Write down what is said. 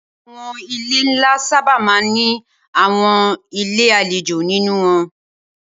Awòn ilé nlá sàbá má n ni áwòn ilé àléjó ninú wòn